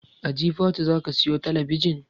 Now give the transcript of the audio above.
A jifatu zaka siyo talabijin?